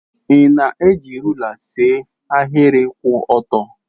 Ị na-eji rula see ahịrị kwụ ọtọ.